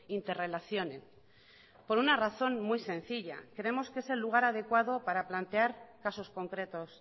interrelacionen por una razón muy sencilla creemos que es el lugar adecuado para plantear casos concretos